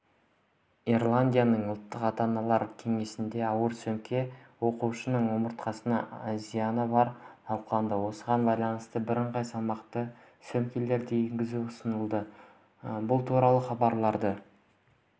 ирландияның ұлттық ата-аналар кеңесінде ауыр сөмке оқушының омыртқасына зияны барын талқылады осыған байланысты бірыңғай салмақтағы сөмкелерді енгізу ұсынылды бұл туралы хабарлады